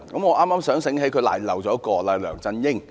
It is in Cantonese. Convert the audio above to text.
我剛想起她遺漏了一人，就是梁振英。